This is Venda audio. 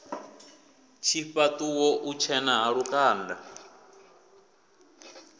tshifhaṱo u tshena ha lukanda